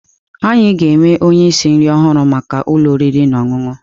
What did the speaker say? Anyị ga-ewe onye osi nri ọhụrụ maka ụlọ oriri na ọṅụṅụ.